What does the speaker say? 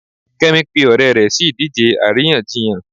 kemi pe ọrẹ rẹ si idije aríyànjiyàn